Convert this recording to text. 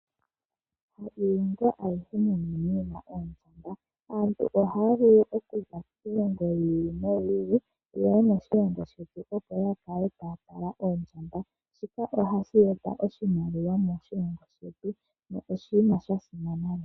Moshilongo shetu otunamo oondjamba. Aantu ohaya vulu okuza kiilongo yi ili yeye moshilongo shetu opo yakale taya tala oondjamba. Shika ohashi eta oshimaliwa moshilongo shetu na oshili sha simana.